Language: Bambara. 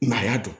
Maa y'a dɔn